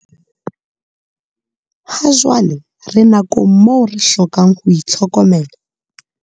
Hajwale re nakong moo re hlokang ho itlhokomela.